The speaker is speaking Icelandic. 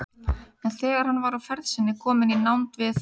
En þegar hann var á ferð sinni kominn í nánd við